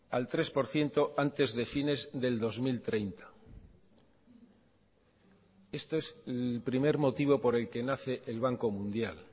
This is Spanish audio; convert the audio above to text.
al tres por ciento antes de fines del dos mil treinta esto es el primer motivo por el que nace el banco mundial